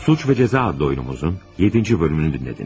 Cinayət və Cəza adlı tamaşamızın 7-ci hissəsini dinlədiniz.